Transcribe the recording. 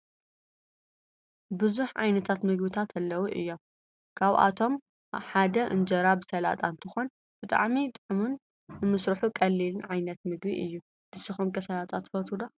ብዛሕ ዓይነታት ምግብታት አለዉ እዩም ።ካብአቶም ሓደ እንጀራ ብስላጣ እንትኮን ብጣዕሚ ጥዕሙን ንምስሩሑ ቀሊልን ዓይነት ምግቢ እዩ። ንስኩም ከ ስላጣ ትፈትው ዶ?